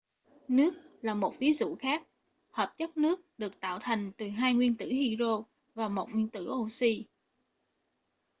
nước là một ví dụ khác hợp chất nước được tạo thành từ hai nguyên tử hydro và một nguyên tử oxy